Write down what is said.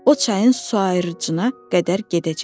O çayın su ayırıcına qədər gedəcək.